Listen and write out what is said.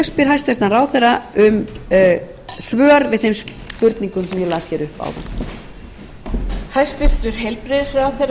spyr hæstvirtur ráðherra um svör við þeim spurningum sem ég las upp áðan